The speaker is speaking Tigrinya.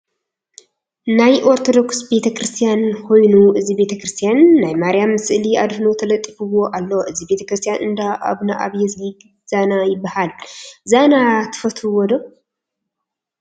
ናይ ኦርቶዶክስ ቤተክርስትያን ኮይኑ እዚ ቤተክርስያን ናይ ማርያም ስእሊ ኣድህኖ ተለጢፍዎ ኣሎ። እዚ ቤተክርስትያን እንዳ ኣብነኣብዮዝጊ ዛና ይበሃል። ዛና ትፈልትዎ?